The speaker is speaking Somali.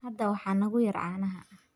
Hadda waxaa nagu yar caanaha.